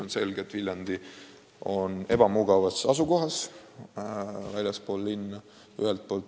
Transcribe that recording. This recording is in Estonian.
On selge, et Viljandi Haigla on ebamugavas asukohas, väljaspool linna.